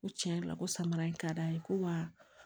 Ko tiɲɛ yɛrɛ la ko samara in ka d'an ye ko wa